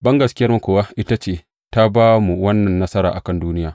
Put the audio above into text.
Bangaskiyarmu kuwa ita ce ta ba mu wannan nasara a kan duniya.